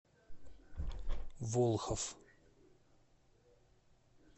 волхов